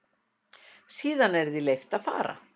Síðan er því leyft að fara.